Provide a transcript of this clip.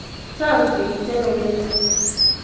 Chang' sigik che mengech